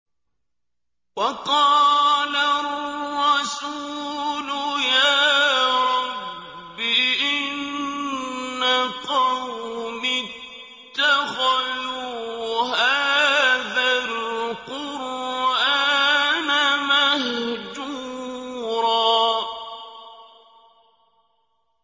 وَقَالَ الرَّسُولُ يَا رَبِّ إِنَّ قَوْمِي اتَّخَذُوا هَٰذَا الْقُرْآنَ مَهْجُورًا